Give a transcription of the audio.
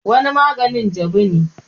wani maganin jabu ne